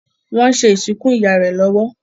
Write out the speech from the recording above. wón ṣe ìsìnkú ìyá rẹ lówó.